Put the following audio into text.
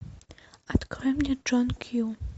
открой мне джон кью